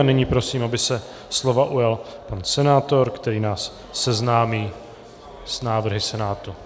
A nyní prosím, aby se slova ujal pan senátor, který nás seznámí s návrhy Senátu.